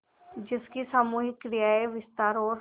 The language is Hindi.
जिसकी सामूहिक क्रियाएँ विस्तार और